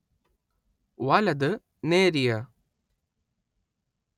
വലത് നേരിയ